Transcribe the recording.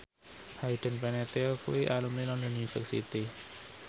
Hayden Panettiere kuwi alumni London University